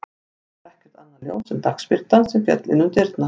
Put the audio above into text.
Þá var ekkert annað ljós en dagsbirtan sem féll inn um dyrnar.